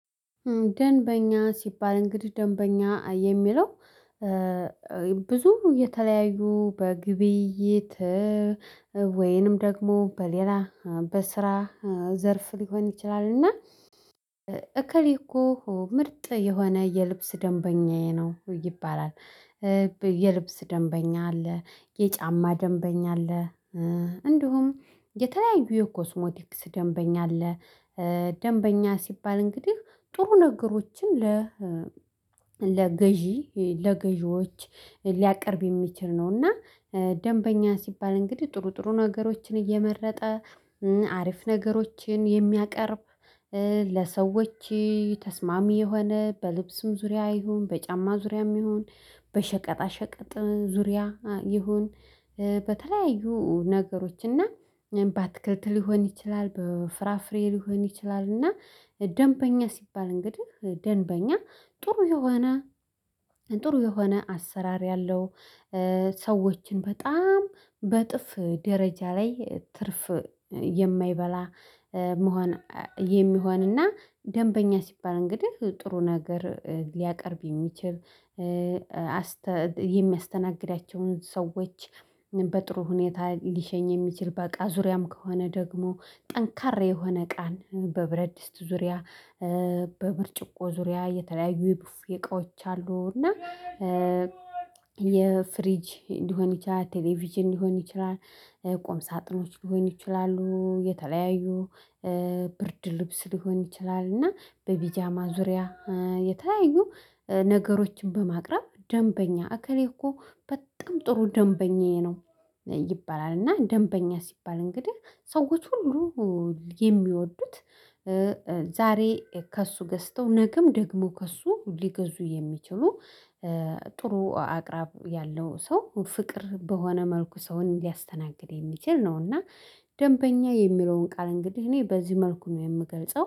ደንበኛ ስባል እንግዲህ ደንበኛ የሚለው ብዙ የተለያዩ በግብይት ወይንም ደግሞ በሌላ በስራ ዘርፍ ልሆን ይችላል እና እከሌ እኮ ምርጥ የሆነ የልብስ ደንበኛዬ ነው ይባላል። የልብስ ደንበኛ አለ የጫማ ደንበኛ አለ እንዲሁም የተለያዩ የኮስሞቲክስ ደንበኛ አለ። ደንበኛ ስባል እንግዲህ ጥሩ ነገሮችን ለ ለገዥ ለገዥዎች ልያቀርብ የሚችል ነውና እና ደንበኛ ስባል እንግዲህ ጥሩ ጥሩ ነገሮችን እየመረጠ አሪፍ ነገሮችን የምያቀርብ ለሰዎች ተስማሚ የሆነ በልብስም ዙሪያ ይሁን በጫማ ዙሪያም ይሁን በሸቀጣሸቀጥ ዙሪያ ይሁን በተለያዩ ነገሮች እና በአትክልት ልሆን ይችላል በፍራፍሬ ልሆን ይችላል እና ደንበኛ ስባል እንግዲህ ደንበኛ ጥሩ የሆነ ጥሩ የሆነ አሰራር ያለው ሰዎችን በጣም በእጥፍ ደረጃ ላይ ትርፍ የማይበላ መሆን የሚሆንና ደንበኛ ስባል እንግዲህ ጥሩ ነገር ልያቀርብ የሚችል የሚያስተናግዳቸውን ሰዎች በጥሩ ሁኔታ ልሸኝ የሚችል በቃ ዙሪያም ከሆነ ደግሞ ጠንካራ የሆነ እቃ በብረት ድስት ዙሪያ በብርጭቆ ዙሪያ የተለያዩ የቡፍ እቃዎች አሉ እና የፍሪጅ እንዲሆን ይችላል ቴሌቪዥን ልሆን ይችላል ቁም ሳጥኖች ልሆን ይችላሉ የተለያዩ ብርድ ልብስ ልሆን ይችላል እና በፒጃማ ዙሪያ የተለያዩ ነገሮችን በማቅረብ ደንበኛ እከለ እኮ በጣም ጥሩ ደንበኛዬ ነው ይባላል እና ደንበኛ ስባል እንግዲህ ሰዎች ሁሉ የሚወዱት ዛሬ ከእሱ ገዝተው ነገም ደግሞ ከእሱ ልገዙ የሚችሉ ጥሩ አቅራብ ያለው ሰው ፍቅር በሆነ መልኩ ሰውን ልያስተናግድ የሚችል ነው እና ዴንበኛ የሚለውን ቃል እንግዲህ እኔ በዚህ መልኩ ነው የምገልጸው